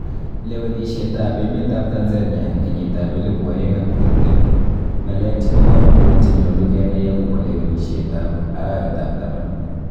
Lewenisiet ab emet ab Tanzania keyiit ab 2020:Ngaleek chebo komonuut cheyolu kenaai agobo lewenisiet ab arawet ab taman.